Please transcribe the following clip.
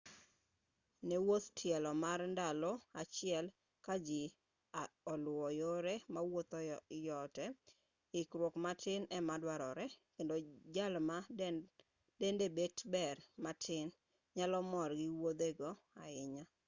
ne wuodh tielo mar ndalo achiel ka ji oluwo yore mawuoth yote ikruoge matin ema duarore kendo jal ma dende bet ber matin nyalo mor gi wuodhigo ahinya